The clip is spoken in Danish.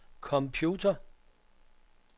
computer